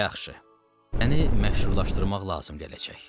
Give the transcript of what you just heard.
Yaxşı, əni məşhurlaşdırmaq lazım gələcək.